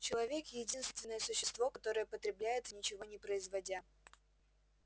человек единственное существо которое потребляет ничего не производя